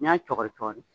N'i y'a cɔgɔri